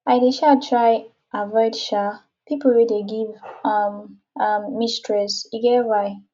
i dey um try avoid um pipo wey dey give um um me stress e get why